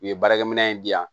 U ye baarakɛminɛn in di yan